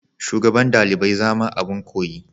shugaban dalibai zama abin koyi.